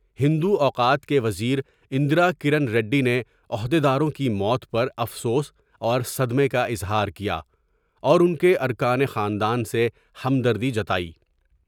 ہندو اوقات کے وزیر اندرا کرن ریڈی نے عہد یداروں کی موت ہرافسوس اور صدمے کا اظہار کیا اور ان کے ارکان خاندان سے ہمدری جتائی ۔